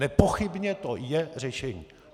Nepochybně to je řešení.